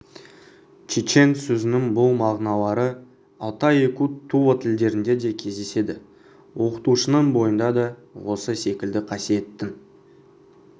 чечен сөзінің бұл мағыналары алтай якут тува тілдерінде де кездеседі оқытушының бойында да осы секілді қасиеттің